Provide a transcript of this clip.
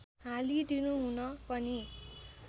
हालिदिनु हुन पनि